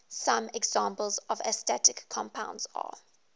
some examples of astatic compounds are